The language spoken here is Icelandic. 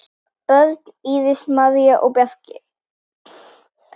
Börn: Íris, María og Bjarki.